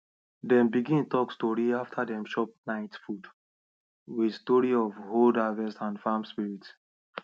dem begin talk story after dem chop night food with story of old harvest and farm spirit